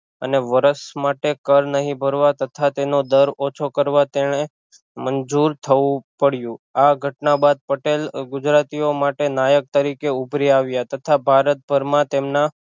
અને વર્ષ માટે કર નહિ ભરવા તથા તેનો દર ઓછો કરવા તેણે મંજૂર થવું પડ્યું આ ઘટના બાદ પટેલ ગુજરાતીઓ માટે નાયક તરીકે ઊભરી આવ્યા તથા ભારતભર માં તેમના